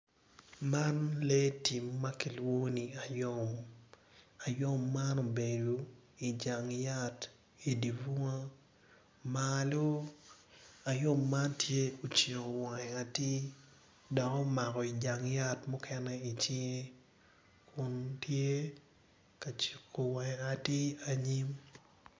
Man lee tim ma kiwlonyo ni ayom ayom man obedo i jang yat i dye bunga malo ngwec kun gitye madwong adada kun gin weng gitye ma oruko bongo mapafipadi dok kalane tye patpat kungin tye ka ngwec i yo gudo ma otal adada.